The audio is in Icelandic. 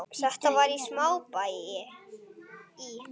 Þetta var í smábæ í